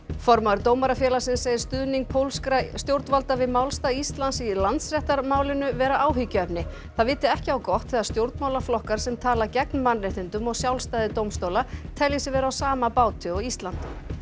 formaður Dómarafélagsins segir stuðning pólskra stjórnvalda við málstað Íslands í Landsréttarmálinu vera áhyggjuefni það viti ekki á gott þegar stjórnmálaflokkar sem tala gegn mannréttindum og sjálfstæði dómstóla telji sig vera á sama báti og Ísland